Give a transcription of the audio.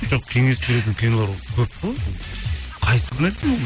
жоқ кеңес беретін кинолар көп қой қайсысын